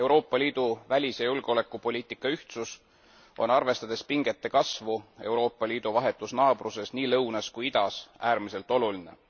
Euroopa Liidu välis ja julgeolekupoliitika ühtsus on, arvestades pingete kasvu Euroopa Liidu vahetus naabruses nii lõunas kui ka idas, äärmiselt oluline.